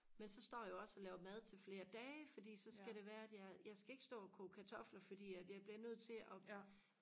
men så står jeg jo også og laver mad til flere dage fordi så skal det være at jeg jeg skal ikke stå og koge kartofler fordi at jeg bliver nødt til og